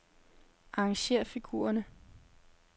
Arrangér figurerne.